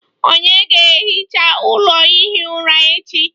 Ònye ga-ehicha ụlọ ihi ụra echi?